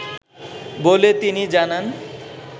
বলে তিনি জানান